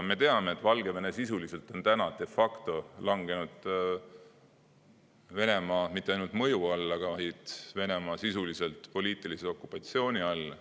Me teame, et Valgevene de facto on langenud mitte ainult Venemaa mõju alla, vaid sisuliselt Venemaa poliitilise okupatsiooni alla.